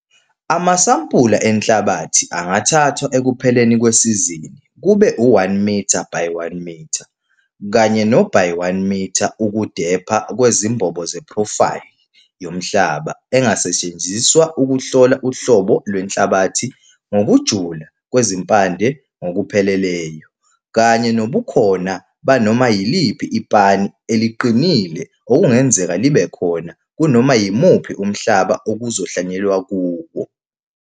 Amasampula enhlabathi angathathwa ekupheleni kwesizini kube u-1 mitha by 1 mitha kanye no-by 1 mitha ukudepha kwezimbobo zephrofayli yomhlaba engasetshenziswa ukuhlola uhlobo lwenhlabathi ngokujula kwezimpande ngokupheleleyo, kanye nobukhona banoma yiliphi i-pan eliqinile okungenzeka libe khona kunoma yimuphi umhlaba ukuzohlwanyelwa kuwo.